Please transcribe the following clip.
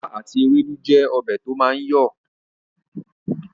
Ìlà àti ewédú jẹ́ ọbẹ̀ to máa ń yọ